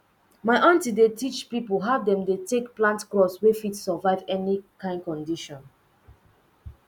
my aunty dey teach people how dem take dey plant crops wey fit survive any kind condition